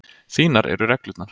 Þínar eru reglurnar.